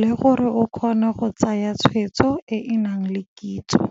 le gore o kgone go tsaya tshweetso e e nang le kitso.